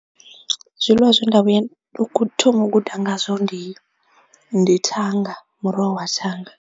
Zwiḽiwa zwe nda vhuya thi ngo guda ngazwo ndi ndi thanga muroho wa thanga.